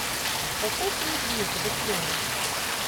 поставь фильм клиника быстрее